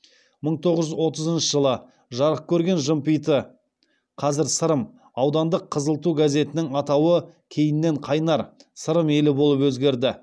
мың тоғыз жүз отызыншы жылы жарық көрген жымпиты аудандық қызыл ту газетінің атауы кейіннен қайнар сырым елі болып өзгерді